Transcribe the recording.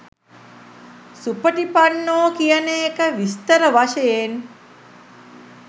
සුපටිපන්නෝ කියන එක විස්තර වශයෙන්.